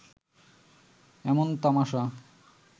এমন তামাসা